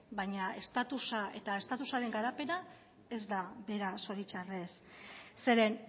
baina estatusaren garapena ez da bera zoritxarrez zeren